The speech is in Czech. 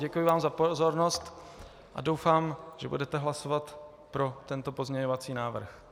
Děkuji vám za pozornost a doufám, že budete hlasovat pro tento pozměňovací návrh.